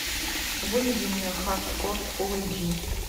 выведи мне хардкор фулл эйч ди